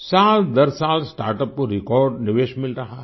सालदरसाल startup को record निवेश मिल रहा है